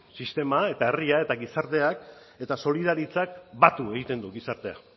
sistema herria eta gizartea eta solidaritzak batu egiten du gizartea